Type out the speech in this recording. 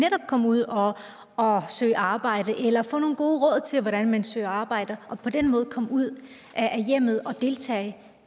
komme ud og og søge arbejde eller få nogle gode råd til hvordan man søger arbejde og altså på den måde komme ud af hjemmet og deltage